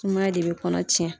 Sumaya de bɛ kɔnɔ cɛn.